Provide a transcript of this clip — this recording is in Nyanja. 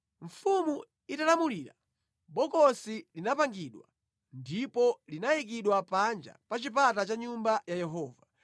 Mfumu italamulira, bokosi linapangidwa ndipo linayikidwa panja pa chipata cha Nyumba ya Yehova.